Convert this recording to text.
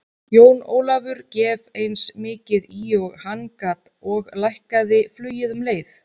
Jón Ólafur gef eins mikið í og hann gat og lækkaði flugið um leið.